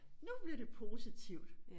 Nu bliver det positivt